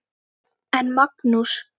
En Magnús